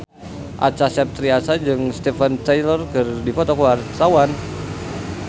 Acha Septriasa jeung Steven Tyler keur dipoto ku wartawan